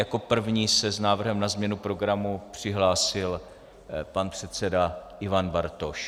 Jako první se s návrhem na změnu programu přihlásil pan předseda Ivan Bartoš.